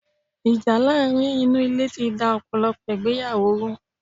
Ìjà láàrin inú Ilé ti da ọ̀pọ̀lọ̀pọ̀ ìgbéyàwó ru